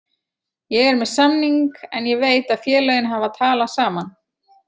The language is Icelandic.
Ég er með samning en ég veit að félögin hafa talað saman.